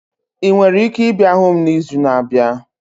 Ị nwere ike ịbịa hụ m n'izu na-abịa?